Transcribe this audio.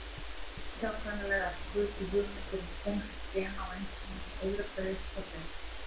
Óhjákvæmilega skutu hugmyndir um tengsl gena og ensíma þó öðru hverju upp kollinum.